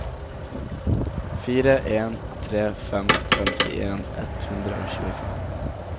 fire en tre fem femtien ett hundre og tjuefem